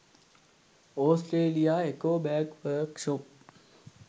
australia eco bag work shop